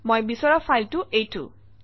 মই বিচৰা ফাইলটো এইটো